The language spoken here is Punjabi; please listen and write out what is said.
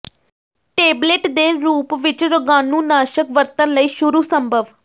ਟੇਬਲੇਟ ਦੇ ਰੂਪ ਵਿੱਚ ਰੋਗਾਣੂਨਾਸ਼ਕ ਵਰਤਣ ਲਈ ਸ਼ੁਰੂ ਸੰਭਵ